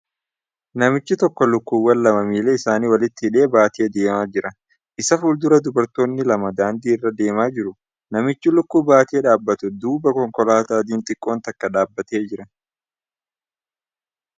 Namichi tokko lukkuuwwan lama miila isaanii walitti hidhee baatee deemaa jira. Isa fuuldura dubartoonni lama daandii irra deemaa jiru. Namicha lukkuu baatee dhaabbatu duuba konkolaataa adiin xiqqoon takka dhaabbatee jira.